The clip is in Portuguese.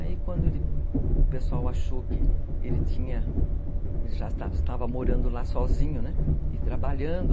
Aí quando o pessoal achou que ele tinha, já estava morando lá sozinho, né, e trabalhando,